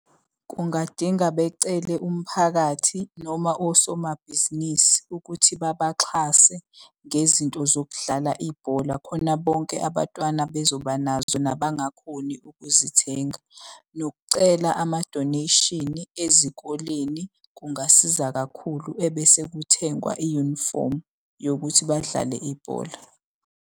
Kungadinga becele umphakathi noma osomabhizinisi ukuthi babaxhase ngezinto zokudlala ibhola khona bonke abatwana bezoba nazo nabangakhoni ukuzithenga. Nokucela amadoneyshini ezikoleni kungasiza kakhulu ebese kuthengwa iyunifomu yokuthi badlale ibhola.